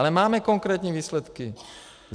Ale máme konkrétní výsledky.